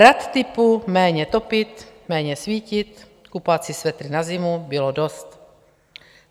Rad typu méně topit, méně svítit, kupovat si svetry na zimu bylo dost.